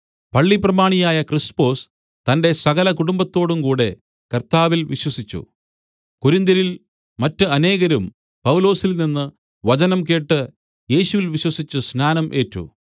പള്ളിപ്രമാണിയായ ക്രിസ്പൊസ് തന്റെ സകല കുടുംബത്തോടുംകൂടെ കർത്താവിൽ വിശ്വസിച്ചു കൊരിന്ത്യരിൽ മറ്റ് അനേകരും പൗലോസിൽനിന്ന് വചനം കേട്ട് യേശുവിൽ വിശ്വസിച്ചു സ്നാനം ഏറ്റു